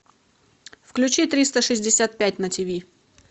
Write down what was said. включи триста шестьдесят пять на тв